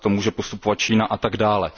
Takto může postupovat Čína a tak dále.